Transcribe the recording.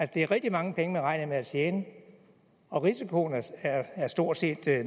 det er rigtig mange penge man regner med at tjene og risikoen er stort set